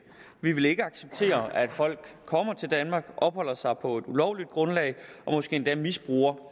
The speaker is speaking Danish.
vi vil ikke acceptere at folk kommer til danmark opholder sig her på et ulovligt grundlag og måske endda misbruger